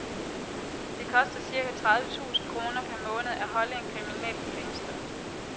Det koster cirka tredive tusind kroner per måned at holde en kriminel fængslet.